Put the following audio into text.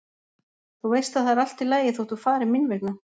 Þú veist að það er allt í lagi þótt þú farir mín vegna.